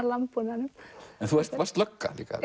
landbúnaðinum en þú varst lögga líka